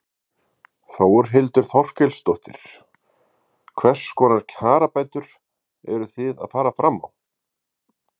Þórhildur Þorkelsdóttir: Hvers konar kjarabætur eru þið að fara fram á?